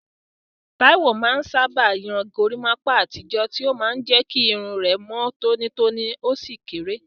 Taiwo sábà máa ń yan gorimapa àtijọ́, tí ó máa ń jẹ́ kí irun rẹ̀ mọ́ tónítóní ó sì kéré.